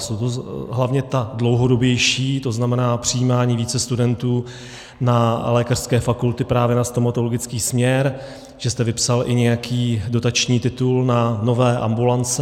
Jsou to hlavně ta dlouhodobější, to znamená přijímání více studentů na lékařské fakulty právě na stomatologický směr, že jste vypsal i nějaký dotační titul na nové ambulance.